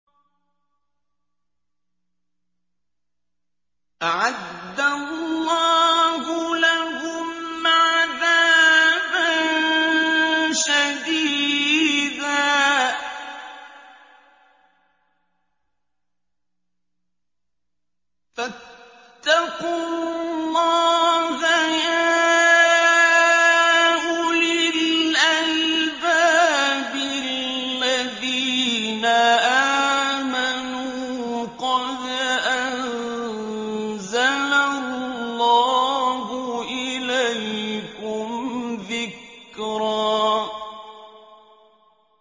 أَعَدَّ اللَّهُ لَهُمْ عَذَابًا شَدِيدًا ۖ فَاتَّقُوا اللَّهَ يَا أُولِي الْأَلْبَابِ الَّذِينَ آمَنُوا ۚ قَدْ أَنزَلَ اللَّهُ إِلَيْكُمْ ذِكْرًا